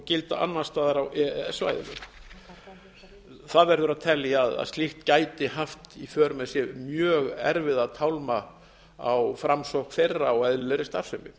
gilda annars staðar á e e s svæðinu það verður að telja að slíkt gæti haft í för með sér mjög erfiða tálma á framsókn þeirra á eðlilegri starfsemi